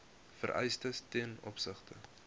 vereistes ten opsigte